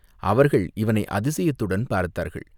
அவர்கள் இவனை அதிசயத்துடன் பார்த்தார்கள்.